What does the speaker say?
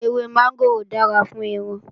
Ewé mọ́ngòrò dára fún irun